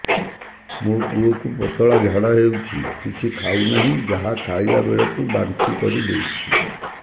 ମୋ ପୁଅ କୁ ପତଳା ଝାଡ଼ା ହେଉଛି କିଛି ଖାଉ ନାହିଁ ଯାହା ଖାଇଲାବେଳକୁ ବାନ୍ତି କରି ଦେଉଛି